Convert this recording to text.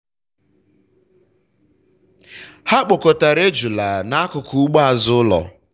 ha kpọkọtara ejula n’akụkụ ugbo azụ ụlọ.